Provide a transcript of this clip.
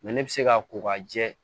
ne bɛ se ka ko ka jɛ